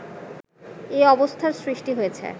এ অবস্থার সৃষ্টি হয়েছে